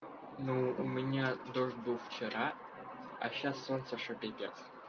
ну у меня дождь был вчера а сейчас солнце что пиздец